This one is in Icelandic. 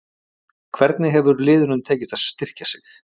Hvernig hefur liðunum tekist að styrkja sig?